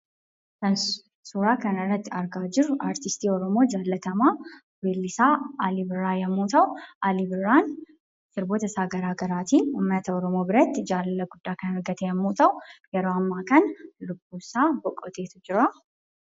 Kan suuraa kanarratti argaa jirru artistii Oromoo jaallatamaa weellisaa Alii Birraa yemmuu ta'u Alii Birraan sirbootasaa garaa garaatiin uummata oromoo biratti jaalala guddaa kan argate yemmuu ta'u yeroo ammaa kana lubbuunsaa boqoteetu jira.